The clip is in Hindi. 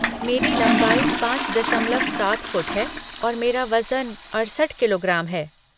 मेरी लंबाई पाँच दशमलव सात फ़ुट है और मेरा वज़न अड़सठ किलोग्राम है।